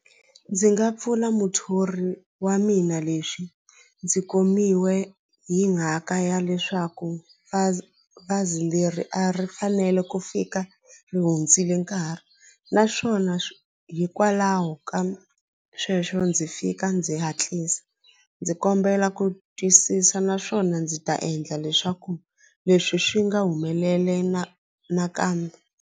Ndzi nga pfula muthori wa mina leswi ndzi komiwe hi mhaka ya leswaku bazi bazi leri a ri fanele ku fika ri hundzile nkarhi naswona swona hikwalaho ka sweswo ndzi fika ndzi hatlisa ndzi kombela ku twisisa naswona ndzi ta endla leswaku leswi swi nga humeleli na nakambe.